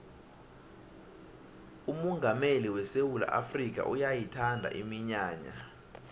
umongameli wesewula afrikha uyayithanda iminyanya